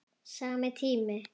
Sami tími.